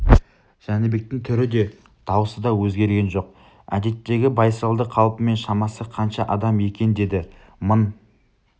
жәнібектің түрі де даусы да өзгерген жоқ әдеттегі байсалды қалпымен шамасы қанша адам екен деді мың